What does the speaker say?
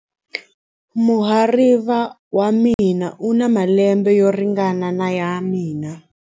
Muhariva wa mina u na malembe yo ringana na ya mina.